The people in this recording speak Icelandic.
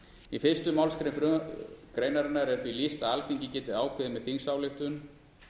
í fyrstu málsgrein greinarinar er því lýst að alþingi geti ákveðið með þingsályktun